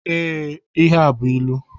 Ee, ihe a bú ịlụ.